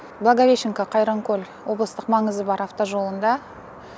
благовещенко қайранкөл облыстық маңызы бар автожолында